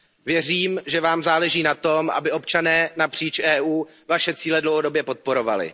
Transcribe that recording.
Věřím, že vám záleží na tom, aby občané napříč EU vaše cíle dlouhodobě podporovali.